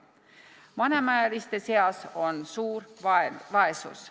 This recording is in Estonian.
Vanemaealiste seas on suur vaesus.